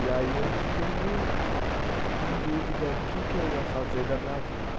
E aí eu fiquei meio em dúvida o que que eu ia fazer da minha vida.